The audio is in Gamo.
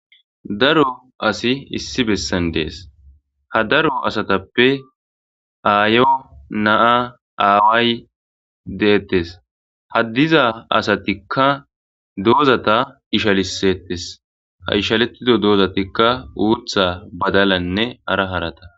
Daro asi issi bessan dees. ha daro asatappe aayo, naa,aaway deettes ha diza asatikka doozata ishalisettes. ha ishalishiza doozatikka uutha,badalanne hara harata